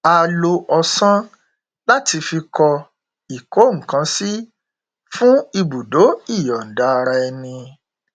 a lo ọsán láti fi kọ ìkónǹkansí fún ibùdó ìyọ̀ǹda-ara-ẹni